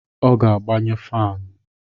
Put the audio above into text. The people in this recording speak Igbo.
Ọ ga-agbanye fanụ